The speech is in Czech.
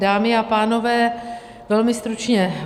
Dámy a pánové, velmi stručně.